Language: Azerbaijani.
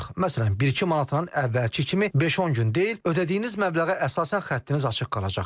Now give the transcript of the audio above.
Məsələn, bir-iki manata əvvəlki kimi 5-10 gün deyil, ödədəyiniz məbləğə əsasən xəttiniz açıq qalacaq.